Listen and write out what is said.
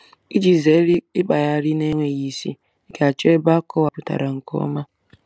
Iji zere ịkpagharị na-enweghị isi, ị ga-achọ ebe akọwapụtara nke ọma.